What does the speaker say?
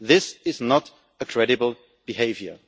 This is not credible behaviour.